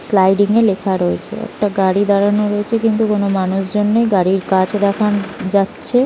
Sliding - এ লেখা রয়েছেএকটা গাড়ি দাঁড়ানো রয়েছে কিন্তু কোনো মানুষ জন নেই গাড়ির কাচ দেখা উ - যাচ্ছে।